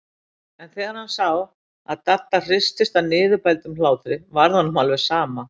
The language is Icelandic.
En þegar hann sá að Dadda hristist af niðurbældum hlátri varð honum alveg sama.